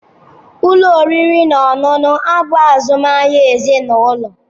Ụlọ oriri na ọṅụṅụ a bụ azụmahịa ezinụlọ.